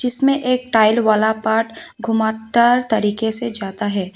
इसमें एक टाइल वाला पार्ट घुमावदार तरीके से जाता है।